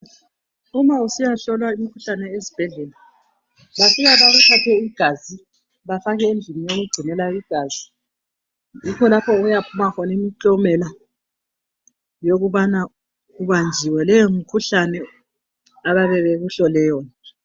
Uma usiyahlolwa imikhuhlane ezibhedlela bafika bakuthathe igazi bafake endlini yokugcinela igazi yikho lapho okuyaphuma khona imiklomela yokubana ubanjiwe leyomikhuhlane abayabe bekuhlole yona.